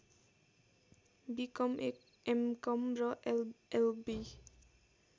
become MCom र LLB